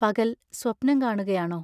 പകൽ, സ്വപ്നം കാണുകയാണോ?